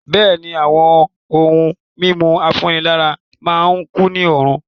Bẹ̀ẹ́ni, àwọn ohun mímu afúnílágbára má n kunni lóorun.